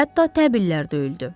Hətta təbillər döyüldü.